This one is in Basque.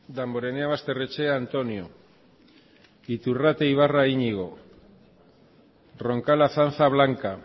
damborenea basterrechea antonio iturrate ibarra iñigo roncal azanza blanca